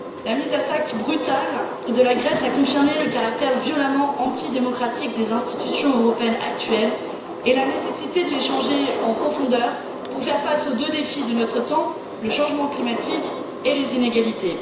La mise à sac brutale de la Grèce a confirmé le caractère violemment antidémocratique des institutions européennes actuelles et la nécessité de les changer en profondeur pour faire face aux deux défis de notre temps le changement climatique et les inégalités.